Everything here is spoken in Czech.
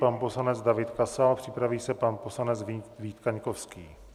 Pan poslanec David Kasal, připraví se pan poslanec Vít Kaňkovský.